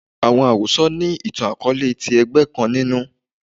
Awọn arosọ ni itan-akọọlẹ ti ẹgbẹ kan ninu